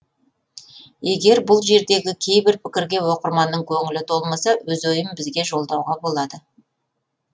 егер бұл жердегі кейбір пікірге оқырманның көңілі толмаса өз ойын бізге жолдауға болады